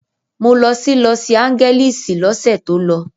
Mo lọ sí Lọsi Áńgẹ́lísì lọ́sẹ̀ tó lọ.